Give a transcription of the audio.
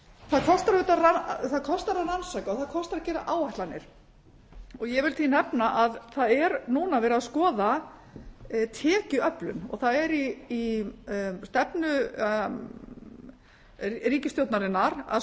það kostar að rannsaka og það kostar að gera áætlanir ég vil því nefna að það er núna verið að skoða tekjuöflun það er í stefnu ríkisstjórnarinnar að